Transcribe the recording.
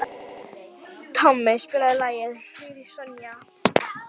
Tommi, spilaðu lagið „Hiroshima“.